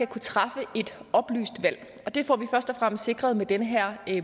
kunne træffe et oplyst valg og det får vi først og fremmest sikret med den her